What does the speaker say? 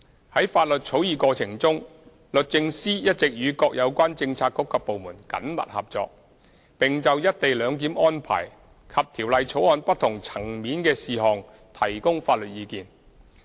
在法律草擬過程中，律政司一直與各有關政策局及部門緊密工作，並就"一地兩檢"安排及條例草案不同層面的事項提供法律意見。